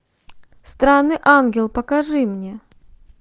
странный ангел покажи мне